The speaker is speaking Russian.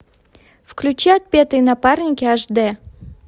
включи отпетые напарники аш д